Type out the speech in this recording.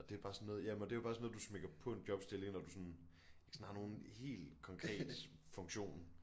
Og det er bare sådan noget ja men og det er jo bare sådan noget du smækker på en jobstilling når du sådan ikke sådan har nogen helt konkret funktion